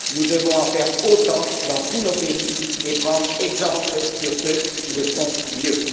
Nous devons en faire autant dans tous nos pays et prendre exemple sur ceux qui le font mieux.